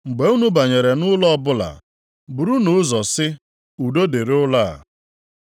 “Mgbe unu banyere nʼụlọ ọbụla, burunu ụzọ sị, ‘Udo dịrị nʼụlọ a.’